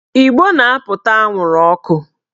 Ìgbó na-apụta anwụrụ ọkụ